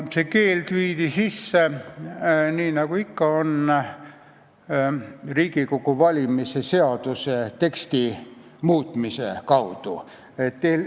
See keeld viidi sisse, nii nagu ikka, Riigikogu valimise seaduse teksti muutmise kaudu.